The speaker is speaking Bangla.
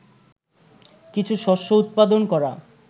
কিছু শস্য উৎপাদন করা